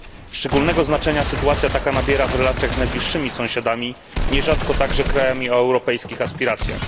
Szczególnego znaczenia sytuacja taka nabiera w relacjach z najbliższymi sąsiadami, nierzadko także krajami o europejskich aspiracjach.